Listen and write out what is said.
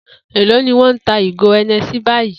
Èló ni wó̩n ń ta ìgò E̩ne̩sí báyìí?